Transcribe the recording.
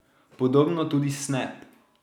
Podobno tudi Snap.